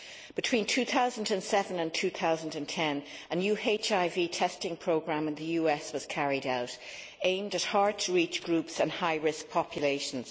Between 2007 and 2010, a new HIV testing programme in the US was carried out aimed at hard to reach groups and high risk populations.